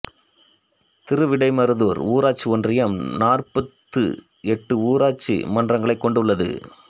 திருவிடைமருதூர் ஊராட்சி ஒன்றியம் நாற்பத்து எட்டு ஊராட்சி மன்றங்களைக் கொண்டுள்ளது